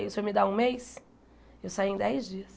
E o senhor me dar um mês, eu saí em dez dias.